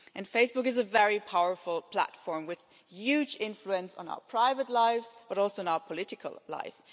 Facebook is a very powerful platform with huge influence on our private lives, but also on our political life.